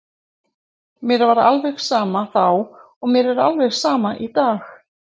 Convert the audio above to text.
Mér var alveg sama þá og mér er alveg sama í dag.